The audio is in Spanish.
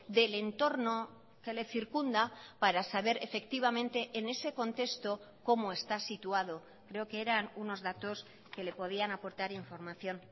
del entorno que le circunda para saber efectivamente en ese contexto cómo está situado creo que eran unos datos que le podían aportar información